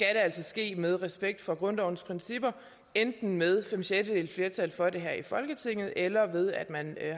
altså ske med respekt for grundlovens principper enten med fem sjettedeles flertal for det her i folketinget eller ved at man